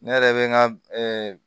Ne yɛrɛ bɛ n ka